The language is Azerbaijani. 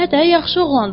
Hə də yaxşı oğlandır.